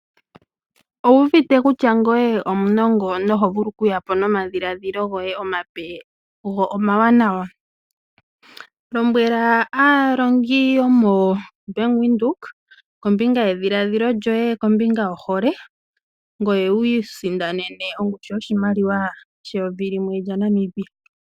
Owuuvite kutya ngoye omunongo na oho vulu okuya po nomadhiladhilo goye omape go omawanawa? Lombwela aalongi yo moBank Windhoek kombinga yedhiladhilo lyoye kombinga yohole, ngoye wu isindanene ongushu yoshimaliwa she yovi limwe lyaNamibia.